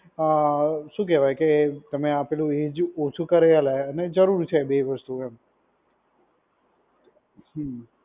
અ શું કહેવાય કે તમે આ પેલું એજ ઓછું કરી આલે અને જરૂર છે બેય વસ્તુ એમ. હમ્મ.